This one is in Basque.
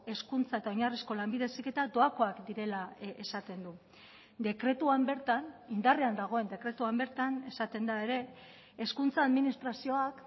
hezkuntza eta oinarrizko lanbide heziketa doakoak direla esaten du dekretuan bertan indarrean dagoen dekretuan bertan esaten da ere hezkuntza administrazioak